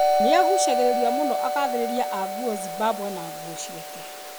Nĩagucagĩrĩria mũno agaithĩrĩria a nguo Zimbabwe na nguo ciake.